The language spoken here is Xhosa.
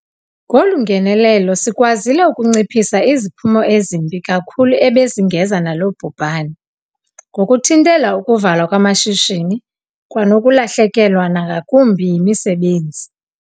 Ngolu ngenelelo sikwazile ukunciphisa iziphumo ezimbi kakhulu ebezingeza nalo bhubhane, ngokuthintela ukuvalwa kwamashishini kwanokulahlekelwa nangakumbi yimisebenzi.